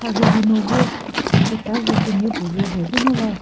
mharhe hihino vo chetazo künye pülüvo rheyizü ngo va.